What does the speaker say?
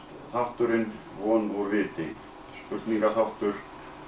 þátturinn von úr viti spurningaþáttur